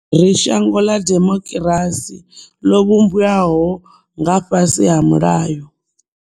Ri shango ḽa demokirasi ḽo vhumbwaho nga fhasi ha mulayo.